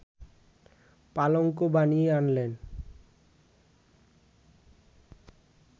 পালঙ্ক বানিয়ে আনলেন